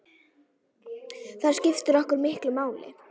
Það skiptir okkur miklu máli.